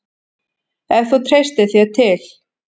Ef þú treystir þér til.